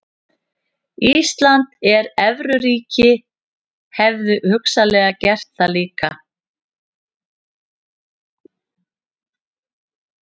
Ísland sem evruríki hefðu hugsanlega gert það líka.